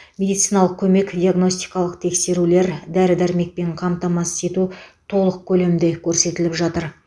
медициналық көмек диагностикалық тексерулер дәрі дәрмекпен қамтамасыз ету толық көлемде көрсетіліп жатыр